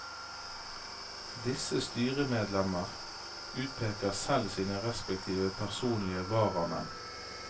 Disse styremedlemmer utpeker selv sine respektive personlige varamenn.